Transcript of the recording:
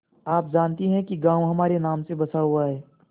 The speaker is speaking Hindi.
आप जानती हैं कि गॉँव हमारे नाम से बसा हुआ है